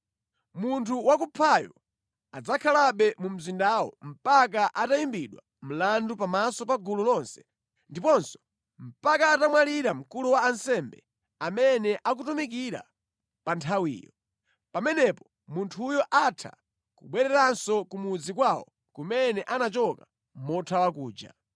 Munthu wakuphayo adzakhalabe mu mzindawo mpaka atayimbidwa mlandu pamaso pa gulu lonse, ndiponso mpaka atamwalira mkulu wa ansembe amene akutumikira pa nthawiyo. Pamenepo munthuyo atha kubwereranso ku mudzi kwawo kumene anachoka mothawa kuja.”